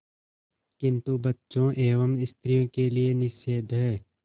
किंतु बच्चों एवं स्त्रियों के लिए निषेध है